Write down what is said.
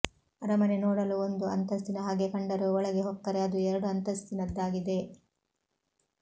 ಅರಮನೆ ನೋಡಲು ಒಂದು ಅಂತಸ್ತಿನ ಹಾಗೆ ಕಂಡರೂ ಒಳಗೆ ಹೊಕ್ಕರೆ ಅದು ಎರಡು ಅಂತಸ್ತಿನದ್ದಾಗಿದೆ